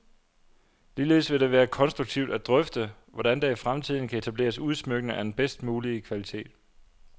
Ligeledes vil det være konstruktivt at drøfte, hvordan der i fremtiden kan etableres udsmykninger af den bedst mulige kvalitet.